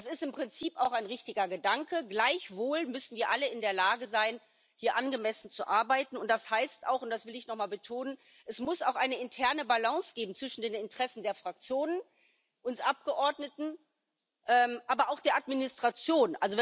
Das ist im Prinzip auch ein richtiger Gedanke, gleichwohl müssen wir alle in der Lage sein, hier angemessen zu arbeiten, und das heißt auch und das will ich nochmal betonen Es muss auch eine interne Balance geben zwischen den Interessen der Fraktionen, uns Abgeordneten, aber auch der Administration.